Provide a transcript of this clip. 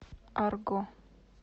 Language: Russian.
арго